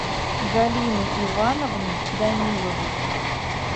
галиной ивановной даниловой